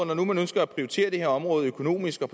nu ønsker at prioritere det her område økonomisk og